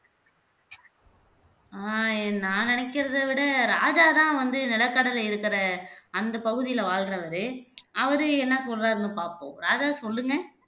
ஆஹ் நான் நினைக்கிறத விட ராஜா தான் வந்து நிலக்கடலை இருக்கிற அந்த பகுதில வாழ்றவரு அவரு என்ன சொல்றாருன்னு பாப்போம் ராஜா சொல்லுங்க